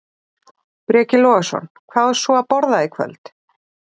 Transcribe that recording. Breki Logason: Hvað á svo að borða í kvöld?